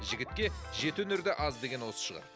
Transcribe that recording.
жігітке жеті өнер де аз деген осы шығар